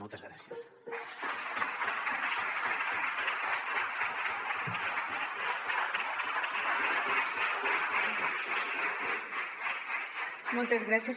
moltes gràcies